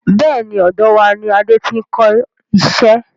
Bẹ́ẹ̀ni, ọ̀dọ̀ wá ní Adé tí n kọ iṣẹ́.